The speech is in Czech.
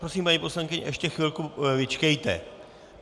Prosím, paní poslankyně, ještě chvilku vyčkejte.